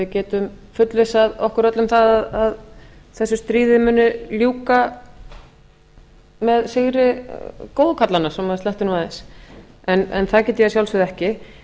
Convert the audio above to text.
getum fullvissað okkur öll um að þessu stríði muni ljúka með sigri góðu kallanna svo maður sletti nú aðeins en það get ég að sjálfsögðu ekki